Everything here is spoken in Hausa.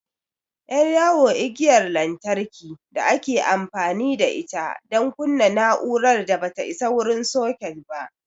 Ƴar yawo igiyar lantarki da ake amfani da ita don kunna na'urar da ba ta isa wurin soket ba.